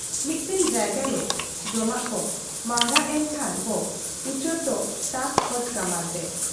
ᱢᱤᱫᱴᱟᱹᱝ ᱡᱟᱭᱜᱟᱨᱮ ᱡᱚᱢᱟᱜ ᱠᱚ ᱢᱟᱦᱨᱟᱜᱽ ᱮᱱ ᱠᱷᱟᱱ ᱵᱚ ᱩᱪᱟᱹᱲ ᱫᱚ ᱛᱟᱠᱚ ᱠᱷᱚᱡ ᱠᱟᱢᱟᱱᱛᱮ ᱾